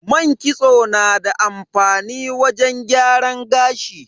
Man kitso na da amfani wajen gyaran gashi.